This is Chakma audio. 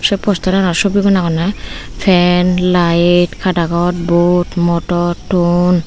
se posteranot sobigun agonney fan laed kadagod bod motor ton.